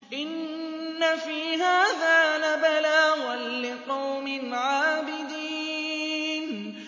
إِنَّ فِي هَٰذَا لَبَلَاغًا لِّقَوْمٍ عَابِدِينَ